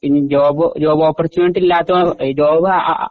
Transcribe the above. job job opportunity ഇല്ലാത്ത job ആ